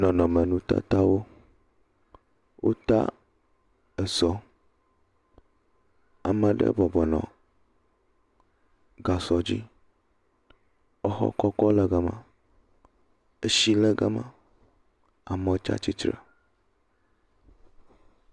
nɔnɔme nutatawo wota esɔ amaɖe bɔbɔnɔ gasɔ dzi exɔ kɔkɔ le gama esi le gama amɔ tsatsitre